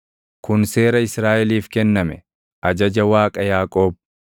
kun seera Israaʼeliif kenname, ajaja Waaqa Yaaqoob.